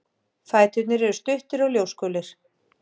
Fæturnir eru stuttir og ljósgulir.